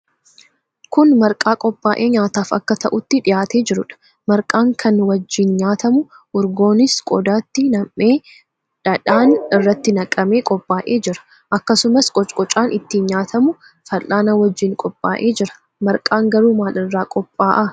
Kun marqaa qophaa'ee nyaataaf akka ta'utti dhihaatee jiruudha. Marqaan kan wajjin nyaatamu urgoonis qodaatti nam'ee, dhaadheen irratti naqamee qophaa'ee jira. Akkasumas, 'qocqocaa'n ittiin nyaatamu fal'aana wajjin qophaa'ee jira. Marqaan garuu maal irraa qophaa'a?